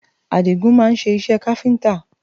Àdigún máa ń ṣe iṣẹ́ káfíńtà